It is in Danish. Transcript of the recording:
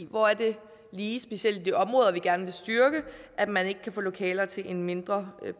hvor er det lige specielt i de områder vi gerne vil styrke at man ikke kan få lokaler til en mindre